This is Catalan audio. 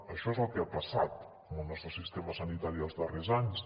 això és el que ha passat amb el nostre sistema sanitari els darrers anys